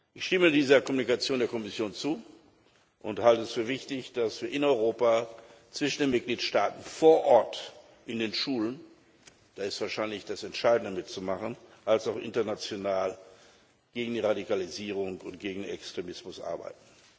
Ich stimme dieser Mitteilung der Kommission zu und halte es für wichtig, dass wir in Europa, zwischen den Mitgliedstaaten, vor Ort in den Schulen da ist wahrscheinlich das Entscheidende zu machen sowie international gegen die Radikalisierung und gegen Extremismus arbeiten.